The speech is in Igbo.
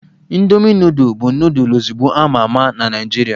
Indomi nudul bụ nudul ozugbo a ma ama na Naịjirịa